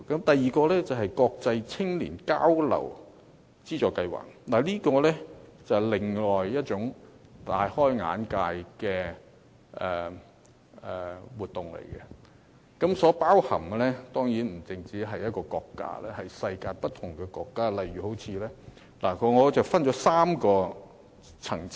第二，國際青年交流資助計劃是另一項令人大開眼界的活動，當中包含不止一個國家，而是世界不同國家，我將它們分為3個層次。